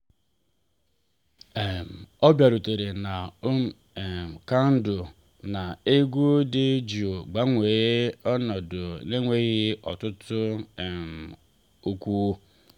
um ọ bịarutere na um kandụl na egwu dị jụụ gbanwee ọnọdụ n’enweghị ọtụtụ um okwu.